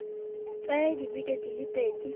tsaya dibeke di le pedi